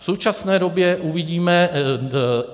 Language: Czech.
V současné době uvidíme.